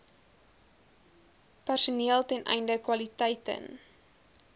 personeelten einde kwaliteiten